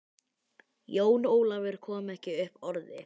Jón Ólafur kom ekki upp orði.